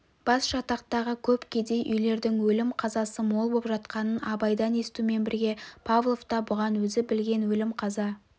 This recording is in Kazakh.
басжатақтағы көп кедей үйлердің өлім қазасы мол боп жатқанын абайдан естумен бірге павлов та бұған өзі білген өлім-қаза